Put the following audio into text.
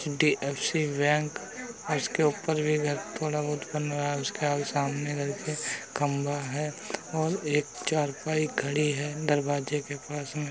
HDFC. Bank उसके ऊपर भी घर थोड़ा बहुत बन रहा है उसके सामने करके खम्बा है और एक चारपाई खड़ी है दरवाजे के पास में।